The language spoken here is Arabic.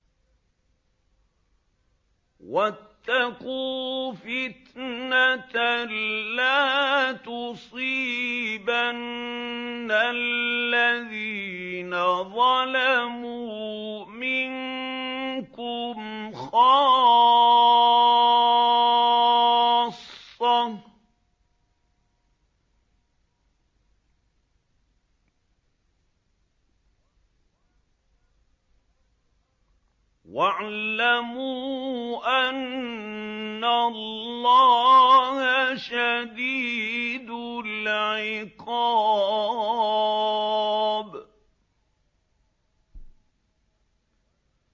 وَاتَّقُوا فِتْنَةً لَّا تُصِيبَنَّ الَّذِينَ ظَلَمُوا مِنكُمْ خَاصَّةً ۖ وَاعْلَمُوا أَنَّ اللَّهَ شَدِيدُ الْعِقَابِ